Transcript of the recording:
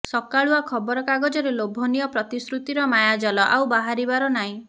ସକାଳୁଆ ଖବର କାଗଜରେ ଲୋଭନୀୟ ପ୍ରତିଶୃତିର ମାୟାଜାଲ ଆଉ ବାହାରିବାର ନାଇଁ